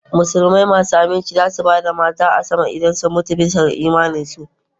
Musulmai masu aminci za su ba da mata a sama idan sun mutu bisa ga imaninsu